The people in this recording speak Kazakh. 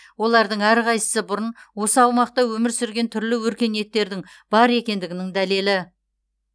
олардың әрқайсысы бұрын осы аумақта өмір сүрген түрлі өркениеттердің бар екендігінің дәлелі